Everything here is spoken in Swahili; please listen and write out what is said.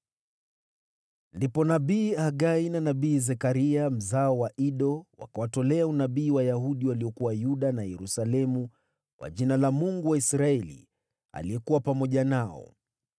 Ndipo nabii Hagai na nabii Zekaria mzao wa Ido, wakawatolea unabii Wayahudi waliokuwa Yuda na Yerusalemu kwa jina la Mungu wa Israeli, aliyekuwa pamoja nao.